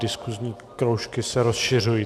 Diskusní kroužky se rozšiřují.